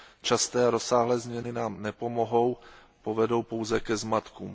Časté a rozsáhlé změny nám nepomohou, povedou pouze ke zmatkům.